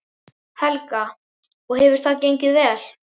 Helga: Og hefur það gengið vel?